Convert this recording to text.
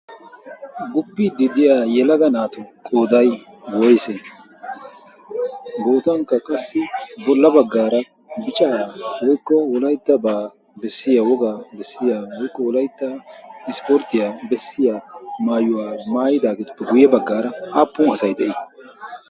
Guppiidi diya yelaga naatu qooday woyse? gootankka qassi bolla baggaara bichaa woykko wolayttabaa bessiya wogaa bessiya woykko wolaytta ispporttiyaa bessiya maayuwaa maayidaageetuppe guyye baggaara aappun asay de'ii?